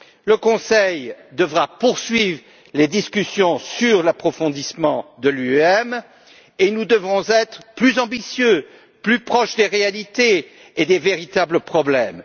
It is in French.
Le Conseil devra poursuivre les discussions sur l'approfondissement de l'UEM et nous devrons être plus ambitieux, plus proches des réalités et des véritables problèmes.